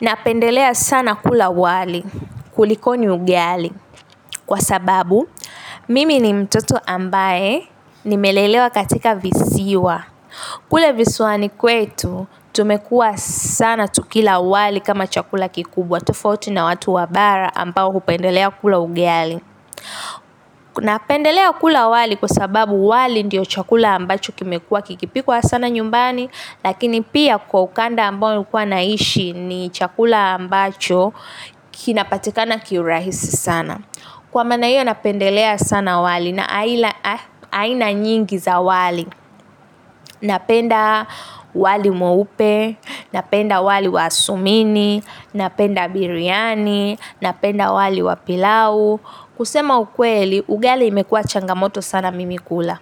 Napendelea sana kula wali kulikoni ugali kwa sababu mimi ni mtoto ambaye nimelelewa katika visiwa. Kule visiwani kwetu, tumekuwa sana tukila wali kama chakula kikubwa tofauti na watu wa bara ambao hupendelea kula ugali. Napendelea kula wali kwa sababu wali ndiyo chakula ambacho kimekuwa kikipikwa sana nyumbani lakini pia kwa ukanda ambao nilikuwa naishi ni chakula ambacho kinapatikana kiurahisi sana. Kwa maana hiyo napendelea sana wali na aina nyingi za wali. Napenda wali mweupe, napenda wali wa sumini, napenda biryani, napenda wali wa pilau. Kusema ukweli, ugali imekuwa changamoto sana mimi kula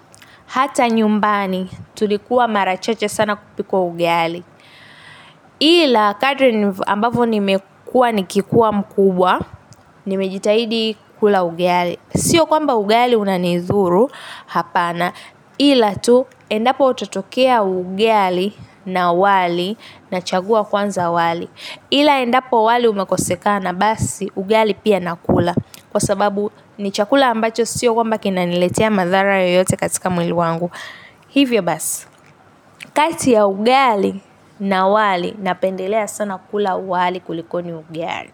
hata nyumbani tulikuwa mara chache sana kupikwa ugali ila kadri ambavyo nimekuwa nikikuwa mkubwa. Nimejitahidi kula ugali, sio kwamba ugali unanidhuru hapana ila tu endapo tatokea ugali na wali nachagua kwanza wali ila endapo wali umekosekana basi ugali pia nakula kwa sababu ni chakula ambacho sio kwamba kinaniletea madhara yoyote katika mwili wangu hivyo basi, kati ya ugali na wali napendelea sana kula wali kulikoni ugali.